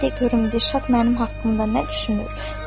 İndi mənə de görüm Dirşad mənim haqqımda nə düşünür?